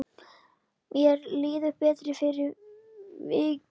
Mér líður betur fyrir vikið.